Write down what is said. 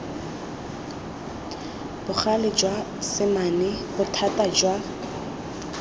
bogale jwa semane bothata jwa